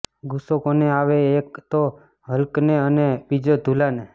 ગુસ્સો કોને આવે એક તો હલ્કને અને બીજો ધુલાને